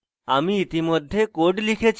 আমি ইতিমধ্যে code লিখেছি